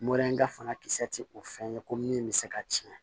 Morɛ in ka fanga kisɛ tɛ o fɛn ye ko min bɛ se ka tiɲɛ